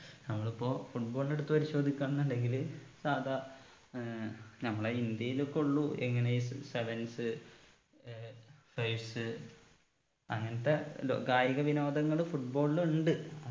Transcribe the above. നമ്മളിപ്പോ football നെ എടുത്ത് പരിശോധിക്ക എന്നുണ്ടെങ്കില് സാധാ ഏർ നമ്മളെ ഇന്ത്യയിലൊകൊള്ളൂ എങ്ങനെ ഈ sevens ഏർ fives അങ്ങനത്തെ ലോ കായിക വിനോദങ്ങള് football ൽ ഇണ്ട്